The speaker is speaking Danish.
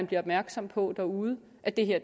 bliver opmærksomme på derude at det her